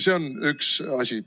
See on üks asi.